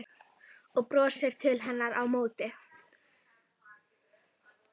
Og brosir til hennar á móti.